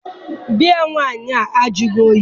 Biya nwaanyị ahụ ajụghị oyi.